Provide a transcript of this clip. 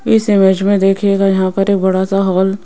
इस इमेज में देखिएगा यहां पर एक बड़ा सा हॉल --